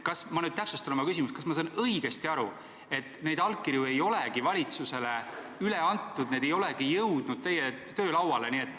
Ma täpsustan oma küsimust: kas ma saan õigesti aru, et neid allkirju ei olegi valitsusele üle antud, need ei olegi jõudnud teie töölauale?